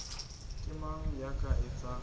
ke mang ya ka etsang